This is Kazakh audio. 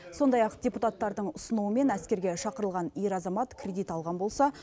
сондай ақ депутаттардың ұсынуымен әскерге шақырылған ер азамат кредит алған болса